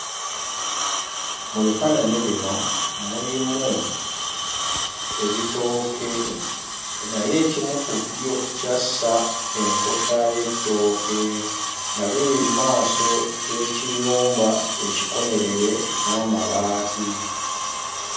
Mu bifaananyi bino mulimu ebitooke naye ekimu ku byo kyassa enkota y'ettooke nga biri mmaaso g'ekiyumba ekikomerere n'amabaati.